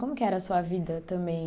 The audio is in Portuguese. Como que era a sua vida também?